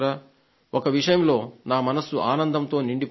ఒక విషయంలో నా మనస్సు ఆనందంతో నిండిపోయింది